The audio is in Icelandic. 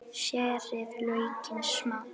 Skerið laukinn smátt.